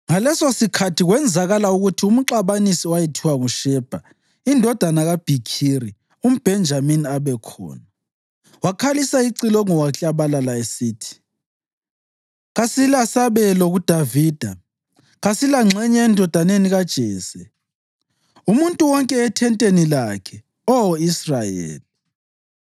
Ngalesosikhathi kwenzakala ukuthi umxabanisi owayethiwa nguShebha indodana kaBhikhiri umBhenjamini abekhona. Wakhalisa icilongo waklabalala esithi, “Kasilasabelo kuDavida, kasilangxenye endodaneni kaJese! Umuntu wonke ethenteni lakhe, Oh Israyeli!”